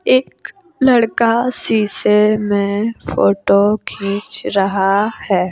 एक लड़का शीशे में फोटो खींच रहा है।